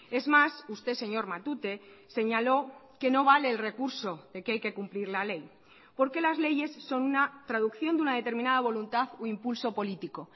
es más usted señor matute señaló que no vale el recurso de que hay que cumplir la ley porque las leyes son una traducción de una determinada voluntad o impulso político